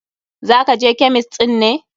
Za ka je kemist ɗin ne?